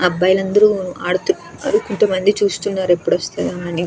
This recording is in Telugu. అబ్బాయిలు అందరూ ఆడుతున్నారు కొంతమంది చూస్తున్నారు ఎప్పుడు వస్తారా అని.